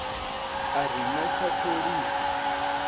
a ri no tswa pholishi